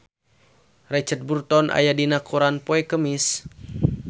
Richard Burton aya dina koran poe Kemis